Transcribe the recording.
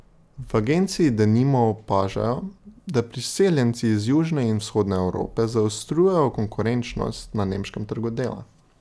V agenciji denimo opažajo, da priseljenci iz južne in vzhodne Evrope zaostrujejo konkurenčnost na nemškem trgu dela.